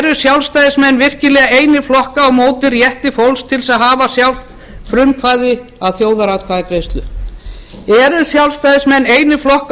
eru sjálfstæðismenn virkilega einir flokka á móti rétti fólks til að hafa sjálft frumkvæði að þjóðaratkvæðagreiðslu eru sjálfstæðismenn einir flokka á